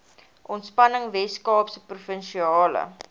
ontspanning weskaapse provinsiale